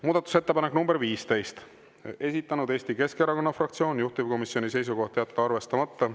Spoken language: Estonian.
Muudatusettepanek nr 15, esitanud Eesti Keskerakonna fraktsioon, juhtivkomisjoni seisukoht on jätta arvestamata.